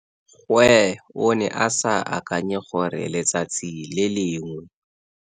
Gwe o ne a sa akanye gore letsatsi lengwe.